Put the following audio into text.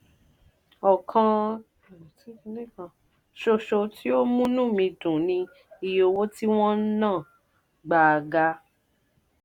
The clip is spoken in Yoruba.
ọkan ṣoṣo tí ó múnú mi dùn ni iye owó tí wọ́n ń ná gbáa ga.